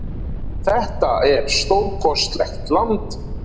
Þetta er stórkostlegt land.